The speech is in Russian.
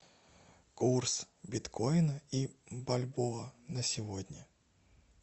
курс биткоина и бальбоа на сегодня